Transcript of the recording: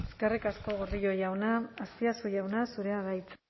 eskerrik asko gordillo jauna azpiazu jauna zurea da hitza